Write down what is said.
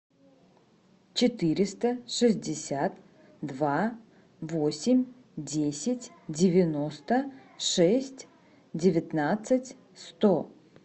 четыреста шестьдесят два восемь десять девяносто шесть девятнадцать сто